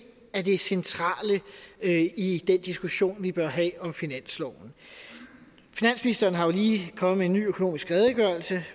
er det centrale i den diskussion vi bør have om finansloven finansministeren er jo lige kommet med en ny økonomisk redegørelse